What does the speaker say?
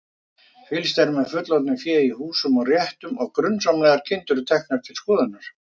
Fylgst er með fullorðnu fé í húsum og réttum og grunsamlegar kindur teknar til skoðunar.